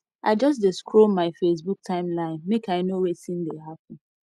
i just dey scroll my facebook timeline make i know wetin dey happen